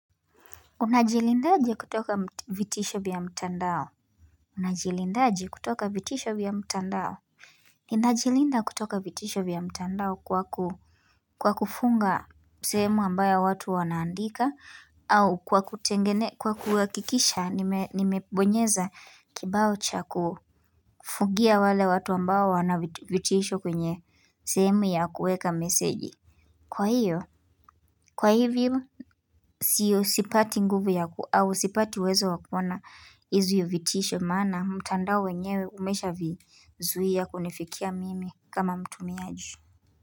Unajilindaje kutoka vitisho vya mtandao Unajilindaje kutoka vitisho bia mtandao Ninajilinda kutoka vitisho vya mtandao kwa kufunga sehemu ambayo watu wanaandika au kwa kutengene kwa kuhakikisha nimebonyeza kibao cha kufungia wale watu ambao wanavitisho kwenye sehemu ya kuweka meseji Kwa hiyo, kwa hivyo siyo sipati nguvu yaku au sipati uwezo wa kuona hizo vitisho maana mtandao wenyewe umeshavizuia kunifikia mimi kama mtumiaji.